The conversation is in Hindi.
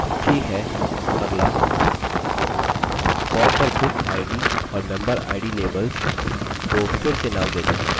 ठीक है अगला form पर bookid और memberid labels को फिर से नाम देते है